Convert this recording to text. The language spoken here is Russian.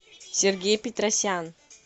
сергей петросян